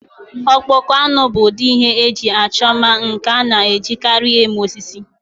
Akpụkpọ anụ bụ ụdị ihe eji achọ mma nke a na-ejikarị eme osisi.